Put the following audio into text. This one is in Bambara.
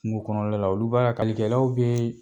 Kungokɔnɔla la olu bɛ ka kalikɛlaw bee